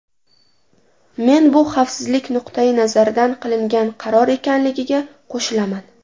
Men bu xavfsizlik nuqtai nazaridan qilingan qaror ekanligiga qo‘shilaman.